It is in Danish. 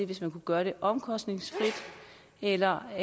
hvis man kunne gøre det omkostningsfrit eller